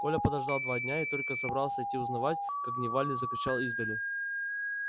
коля подождал два дня и только собрался идти узнавать как дневальный закричал издали